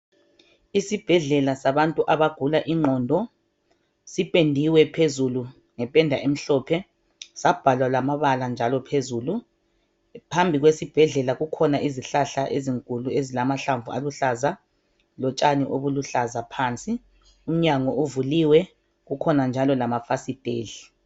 isibhedlela sabantu abagula inqondo sipendiwe phezulu ngependa emhlophe sabhalwa lamabala njalo phezulu phambi kwesibhedlela kukhona izihlahla ezinkulu ezilamahlamvu aluhlaza lotshani obuluhlaza phansi umnyango uvuliwe kukhona njalo lamafasiteli